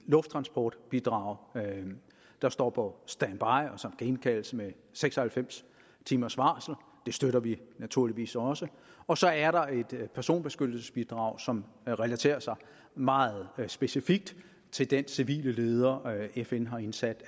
lufttransportbidrag der står på standby og som kan indkaldes med seks og halvfems timers varsel og det støtter vi naturligvis også og så er der et personbeskyttelsesbidrag som relaterer sig meget specifikt til den civile leder fn har indsat i